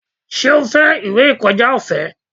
Ṣé o fẹ́ ìwé ìkọjá ọ̀fẹ́?